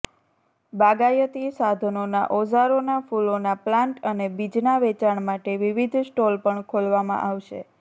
બાગાયતી સાધનોના ઓઝારોના ફૂલોના પ્લાન્ટ અને બીજના વેચાણ માટે વિવિધ સ્ટોલ પણ ખોલવામાં આવશે